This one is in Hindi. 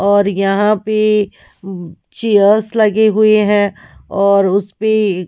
और यहां पे चेयर्स लगे हुए हैंऔर उस पे।